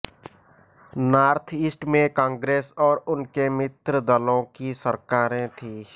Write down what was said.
north east में कांग्रेस और उनके मित्र दलों की सरकारें थीं